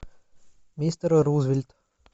мистер рузвельт